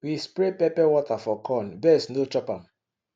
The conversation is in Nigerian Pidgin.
we spray pepper water for corn birds no chop am